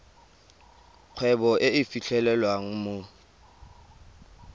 kgwebo e e fitlhelwang mo